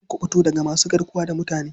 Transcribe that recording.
Akan kuɓuto daga masu garkuwa da mutane.